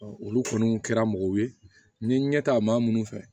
olu kɔni kɛra mɔgɔw ye n ye ɲɛta maa minnu fɛ